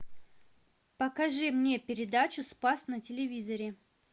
покажи мне передачу спас на телевизоре